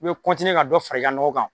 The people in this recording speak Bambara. I bɛ ka dɔ fara i ka nɔgɔ kan